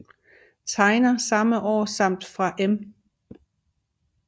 Tegner samme år samt fra Em